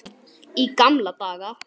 Í gamla daga.